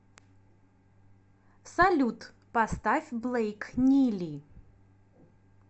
салют поставь блэйк нили